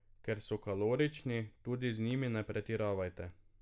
Ker so kalorični, tudi z njimi ne pretiravajte.